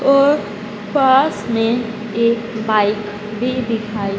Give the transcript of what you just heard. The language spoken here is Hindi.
और पासमें एक बाइक भी दिखाई--